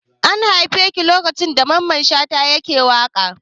An haife ki lokacin da Mamman Shata yake tashe?